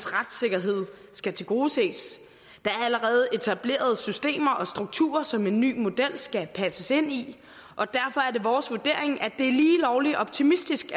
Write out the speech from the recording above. retssikkerhed skal tilgodeses der er allerede etablerede systemer og strukturer som en ny model skal passes ind i og derfor er det vores vurdering at det er lige lovlig optimistisk